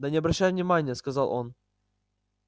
да не обращай внимание сказал он